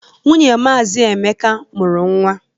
Nwunye Maazi Emeka mụrụ nwa.